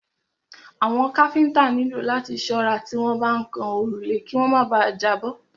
Àwọn káfíńńtà nílò láti ṣọ́ra tí wọ́n bá ń kan òrùlé kí wọ́n má bà à jábọ́.